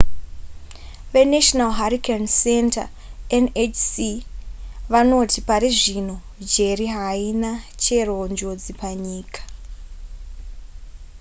venational hurricane center nhc vanoti pari zvino jerry haina chero njodzi panyika